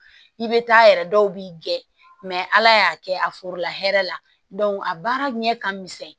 I bɛ taa yɛrɛ dɔw b'i gɛn mɛ ala y'a kɛ a forola hɛrɛ la a baara ɲɛ ka misɛn